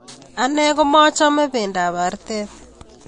Ane komachame pendoab artet